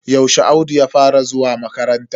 Yaushe Audu ya fara zuwa makaranta?